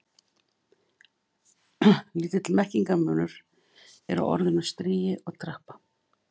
Lítill merkingarmunur er á orðunum stigi og trappa.